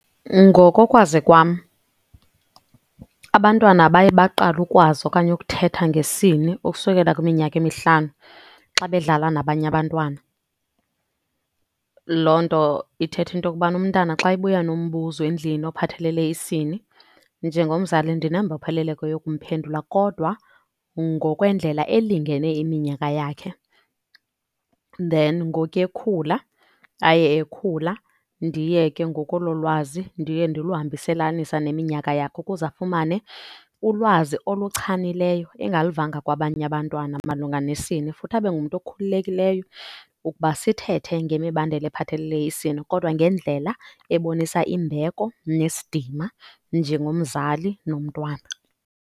Ngokokwazi kwam abantwana baye baqale ukwazi okanye ukuthetha ngesini ukusukela kwiminyaka emihlanu xa bedlala nabanye abantwana. Loo nto ithetha into yokubana umntana xa ebuya nombuzo endlini ophathelele isini, njengomzali ndinembopheleleko yokumphendula kodwa ngokwendlela elingene iminyaka yakhe. Then ngokuya ekhula aye ekhula ndiye ke ngoku olo lwazi ndiye ndiluhambiselanisa neminyaka yakhe ukuze afumane ulwazi oluchanileyo engaluvanga kwabanye abantwana malunga nesini. Futhi abe ngumntu okhululekileyo ukuba sithethe ngemibandela ephathelele isini kodwa ngendlela ebonisa imbeko nesidima njengomzali nomntwana.